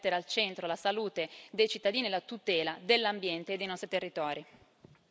Questa Europa deve mettere al centro la salute dei cittadini e la tutela dell'ambiente e dei nostri territori.